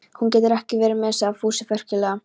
Hún getur ekki verið með, sagði Fúsi frekjulega.